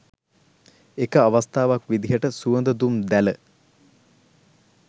එක අවස්ථාවක් විදිහට සුවඳ දුම් දැල